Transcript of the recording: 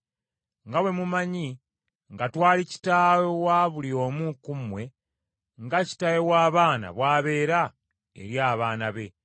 nga bwe mumanyi nga twali kitaawe wa buli omu ku mmwe nga kitaawe w’abaana bw’abeera eri abaana be,